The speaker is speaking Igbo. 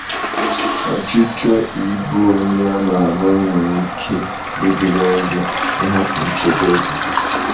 Ọchichọ ịbụ onye ama ama nwere ike iduga gị n’ịhapụ nchebe gị.